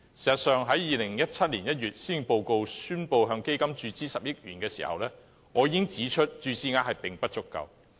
事實上，在2017年1月施政報告宣布向該基金注資10億元時，我已指出注資額並不足夠。